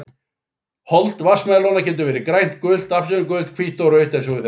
Hold vatnsmelóna getur verið grænt, gult, appelsínugult, hvítt eða rautt eins og við þekkjum best.